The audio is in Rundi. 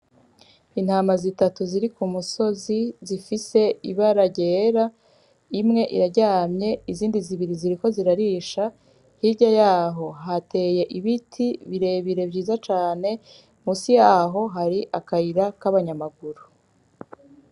Intama zitatu ziri ku musozi zifise ibara ryera imwe iraryamye zibiri ziriko zirarisha , hirya y’aho hateye ibiti birebire vyiza cane , musi y’aho hari akayira k’abanyamaguru .